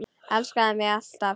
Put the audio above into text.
Elskaðu mig alt af.